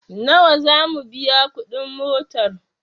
Nawa zamu biya kuɗi motar?